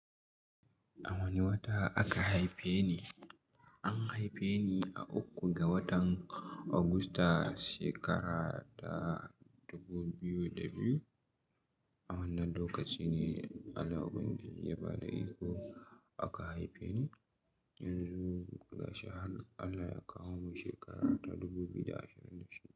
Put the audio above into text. A wane wata aka haife ni? An haife ni a uku ga watan Augusta, shekara ta dubu biyu da biyu. A wannan lokaci ne Allah ubangiji ya ba da iko aka haife ni. Yanzu ga shi har Allah ya kawo mu shekara ta dubu biyu da ashirin da shida.